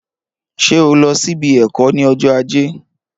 Ṣé o lọ sílé ẹkọ ni ọjọ ajé?